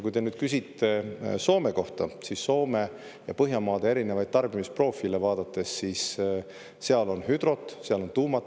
Kui te nüüd küsite Soome kohta, siis vaadakem Soome ja teiste Põhjamaade erinevaid tarbimisprofiile: seal on hüdrot, seal on tuumat.